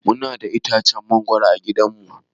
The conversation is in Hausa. Muna da itacen mangoro a gidan mu.